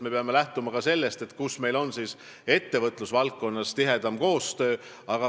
Me peame lähtuma ka sellest, mis regioonides meil on ettevõtlusvaldkonnas tihedam koostöö.